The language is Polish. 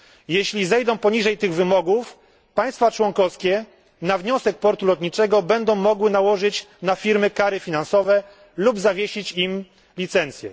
Jeśli zejdą poniżej tych wymogów, państwa członkowskie na wniosek portu lotniczego będą mogły nałożyć na firmy kary finansowe lub zawiesić im licencję.